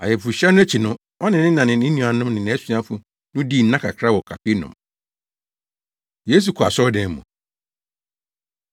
Ayeforohyia no akyi no, ɔne ne na ne ne nuanom ne nʼasuafo no dii nna kakra wɔ Kapernaum. Yesu Kɔ Asɔredan Mu